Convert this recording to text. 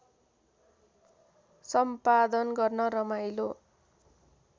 सम्पादन गर्न रमाइलो